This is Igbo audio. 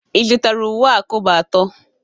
Ị zụtara uwe a kobo atọ?